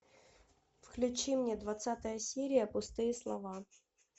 включи мне двадцатая серия пустые слова